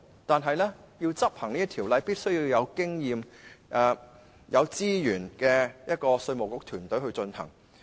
但是，要妥善執行條例，就必須有具經驗及有足夠資源的稅務局團隊。